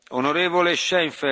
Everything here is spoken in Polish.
Panie Przewodniczący!